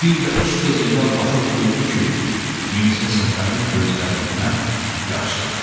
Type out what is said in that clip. Bir də Usta Zeynal baxıb gördü ki, Mirzə Səfərin gözlərindən yaxşı axır.